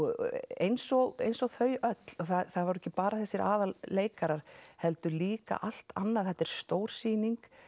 eins og eins og þau öll það voru ekki bara þessir aðalleikarar heldur líka allt annað þetta er stór sýning